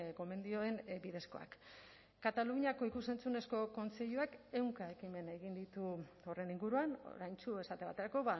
gomendioen bidezkoak kataluniako ikus entzunezko kontseiluak ehunka ekimen egin ditu horren inguruan oraintsu esate baterako